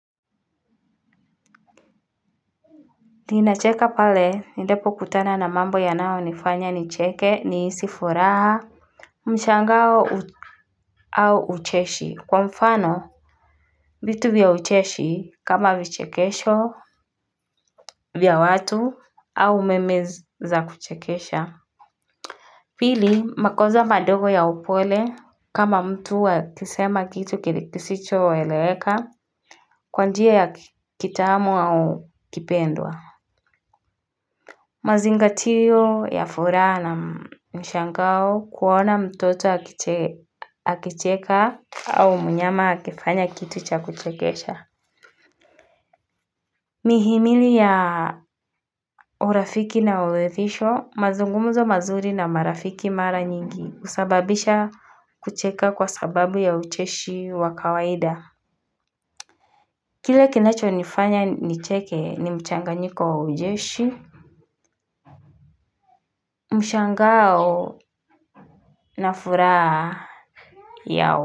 Ninacheka pale endepo kutanana na mambo yanayonifanya nicheke nihisi furaha. Mshangao au ucheshi kwa mfano vitu vya ucheshi kama vichekesho vya watu au umeme za kuchekesha. Pili makosa madogo ya upole kama mtu akisema kitu kisicho eleweka kwa njia ya kitamu au kipendwa. Mazingatio ya furaha na mshangao kuona mtoto akicheka au mnyama akifanya kitu cha kuchekesha. Mihimili ya urafiki na uhefisho, mazungumzo mazuri na marafiki mara nyingi husababisha kucheka kwa sababu ya ucheshi wa kawaida. Kile kinachonifanya nicheke ni mchanganyiko wa ujeshi. Mshangao na furaha yao.